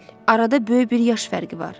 Arada böyük bir yaş fərqi var.